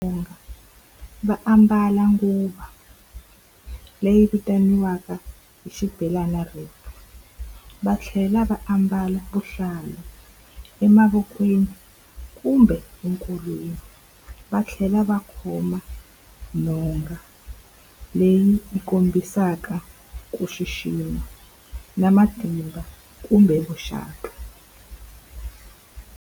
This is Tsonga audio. va ambala nguvo leyi vitaniwaka hi xibelana , va tlhela va ambala vuhlalu emavokweni kumbe enkolweni. Va tlhela va khoma nhonga leyi yi kombisaka ku xixima, na matimba kumbe vuxaka.